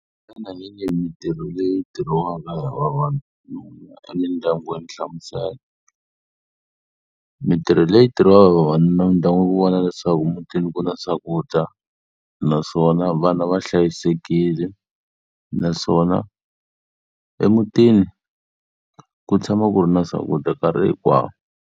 Xana hi yihi mintirho leyi tirhiwaka hi vavanuna emindyangwini? Hlamusela. Mintirho leyi tirhiwaka hi vavanuna emindyangwini i ku vona leswaku mutini ku na swakudya naswona vana va hlayisekile naswona emutini ku tshama ku ri na swakudya nkarhi hinkwawo.